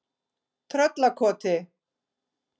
Tröllakoti